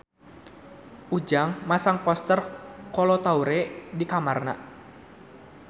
Ujang masang poster Kolo Taure di kamarna